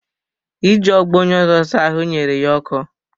Iji ogbo onye ọzọ saa ahụ nyere ya ọkọ